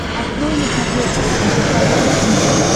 открой на смотрешке эн эйч кей волд ти ви